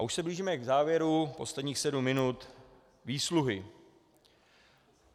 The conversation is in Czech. A už se blížíme k závěru, posledních sedm minut, výsluhy.